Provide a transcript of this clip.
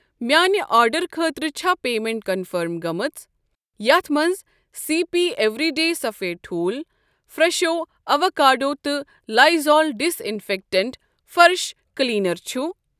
میانہ آرڈر خٲطرٕ چھا پیمنٹ کنفٔرم گٔمٕژ یتھ منٛز سی پی اٮ۪وریٖڈے سفد ٹھوٗل فرٛٮ۪شو اٮ۪ووکاڈو تہٕ لایزال ڈِساِنفٮ۪کٹنٛٹ فرٕش کلیٖنر چھ؟